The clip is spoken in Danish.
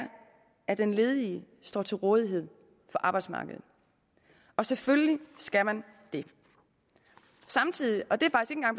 at den ledige står til rådighed for arbejdsmarkedet og selvfølgelig skal man det samtidig og det